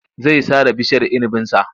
Zai sare bishiyar inibinsa.